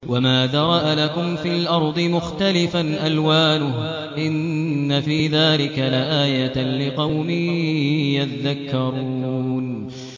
وَمَا ذَرَأَ لَكُمْ فِي الْأَرْضِ مُخْتَلِفًا أَلْوَانُهُ ۗ إِنَّ فِي ذَٰلِكَ لَآيَةً لِّقَوْمٍ يَذَّكَّرُونَ